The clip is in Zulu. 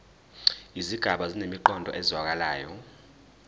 izigaba zinemiqondo ezwakalayo